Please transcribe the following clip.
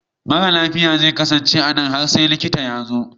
Mara lafiya zai kasance a nan har sai likita ya zo.